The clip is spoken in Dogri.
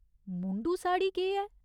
मुंडू साड़ी केह् ऐ ?